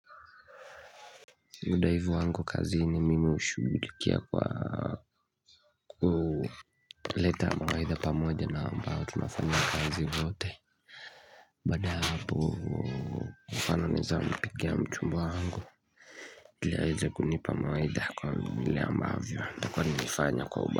Uthaivu wangu kazi ni mimi hushugulikia kwa kuleta mawaidha pamoja na ambao tunafanya kazi wote baaada ya hapo mfano naeza mpigia mchumba wangu ile aeze kunipa mawaidha kwa vile ambavyo nitakua nimefanya kwa uba.